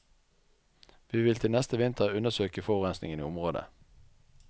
Vi vil til neste vinter undersøke forurensingen i området.